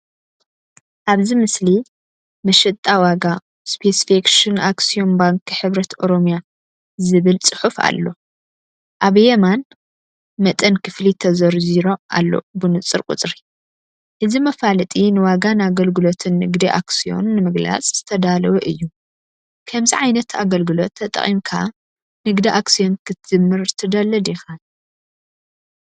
ኣብዚ ምስሊ "መሸጣ ዋጋ ስፔሲፊኬሽን ኣክስዮን ባንኪ ሕብረት ኦሮሚያ"ዝብል ጽሑፍ ኣሎ። ኣብ የማን፡ መጠን ክፍሊት ተዘርዚሩ ኣሎ ብንጹር ቁጽሪ። እዚ መፋለጢ ንዋጋን ኣገልግሎትን ንግዲ ኣክስዮን ንምግላጽ ዝተዳለወ እዩ። ከምዚ ዓይነት ኣገልግሎት ተጠቒምካ ንግዲ ኣክስዮን ክትጅምር ትደሊ ዲኻ?